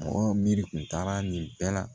Mɔgɔ miiri kun taara nin bɛɛ la